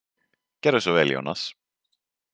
Gerðu svo vel, Jónas!